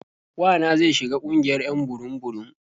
Wa na zai shiga ƙungiyar 'yan burum-burum.